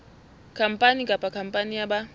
khampani kapa khampani ya ba